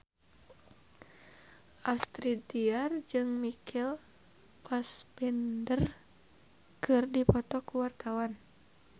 Astrid Tiar jeung Michael Fassbender keur dipoto ku wartawan